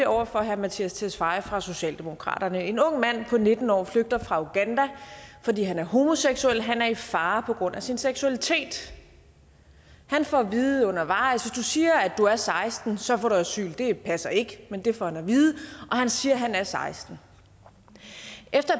over for herre mattias tesfaye fra socialdemokratiet en ung mand på nitten år flygter fra uganda fordi han er homoseksuel han er i fare på grund af sin seksualitet han får at vide undervejs hvis du siger at du er seksten år så får du asyl det passer ikke men det får han at vide og han siger at han er seksten år efter